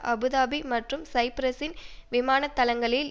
Abu Dhabi மற்றும் சைப்ரஸின் விமானத்தளங்களில்